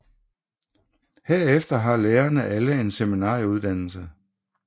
Herefter har lærerne alle en seminarieuddannelse